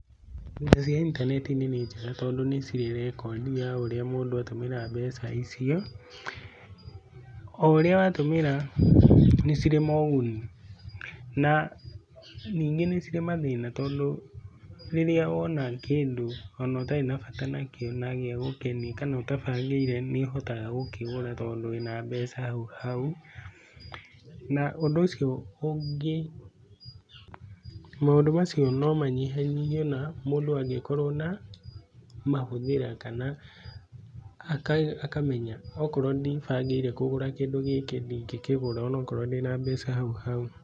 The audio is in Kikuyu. Mbeca cia intaneti-inĩ nĩ njega tondũ nĩ cirĩ na rekondi ya ũrĩa mũndũ atũmĩra mbeca icio, oũrĩa watũmĩra nĩ cirĩ moguni na ningĩ nĩ cirĩ mathĩna tondũ rĩrĩa wona kĩndũ ona ũtarĩ na bata nakĩo na gĩa gũkenia kana ũtabangĩire nĩũhotaga gũkĩgũra tondũ wĩna mbeca hau hau na ũndũ ũcio ũngĩ, maũndũ macio no manyihanyihe na mũndũ angĩkorwo na mahũthĩra kana akamenya okorwo ndibangĩire kũgũra kĩndũ gĩkĩ ndingĩkĩgũra onokorwo ndĩ na mbeca hau hau.